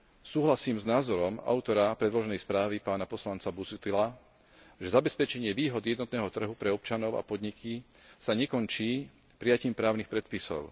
Súhlasím s názorom autora predloženej správy, pána poslanca Busuttila, že zabezpečenie výhod jednotného trhu pre občanov a podniky sa nekončí prijatím právnych predpisov.